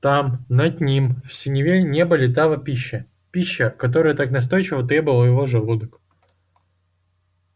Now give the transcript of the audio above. там над ним в синеве неба летала пища пища которой так настойчиво требовал его желудок